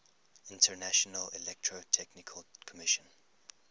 international electrotechnical commission